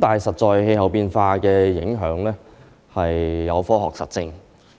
但事實上，氣候變化的影響是有科學實證